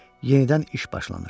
Yenidən iş başlanır.